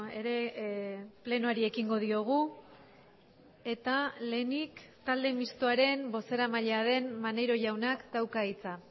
ere plenoari ekingo diogu eta lehenik talde mistoaren bozeramailea den maneiro jaunak dauka hitza